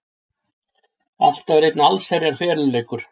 Allt var einn allsherjar feluleikur.